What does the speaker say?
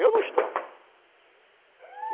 Eu não estranho.